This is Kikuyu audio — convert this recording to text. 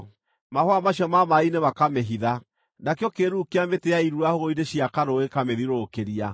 Mahũa macio ma maaĩ-inĩ makamĩhitha; nakĩo kĩĩruru kĩa mĩtĩ ya irura hũgũrũrũ-inĩ cia karũũĩ gĩkamĩthiũrũrũkĩria.